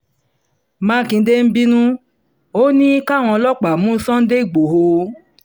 mákindé ń bínú ò ní káwọn ọlọ́pàá mú sunday igbodò